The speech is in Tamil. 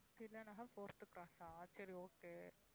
தில்லை நகர் fourth cross ஆ சரி okay